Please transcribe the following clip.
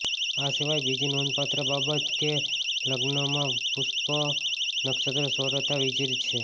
આ સિવાય બીજી નોંધપાત્ર બાબત કે લગ્નમાં પુષ્ય નક્ષત્ર સર્વથા ર્વિજત છે